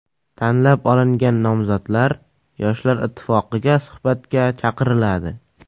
Tanlab olingan nomzodlar Yoshlar ittifoqiga suhbatga chaqiriladi.